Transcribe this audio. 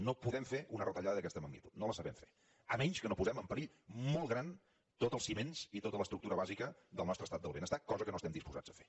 no podem fer una retallada d’aquesta magnitud no la sabem fer a menys que no posem en perill molt gran tots els ciments i tota l’estructura bàsica del nostre estat del benestar cosa que no estem disposats a fer